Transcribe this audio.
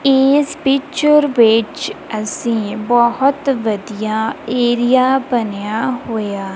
ਏਸ ਪਿਕਚਰ ਵਿੱਚ ਅੱਸੀਂ ਬੋਹੁਤ ਵਧੀਆ ਏਰੀਆ ਬਨਿਆ ਹੋਏ ਆ--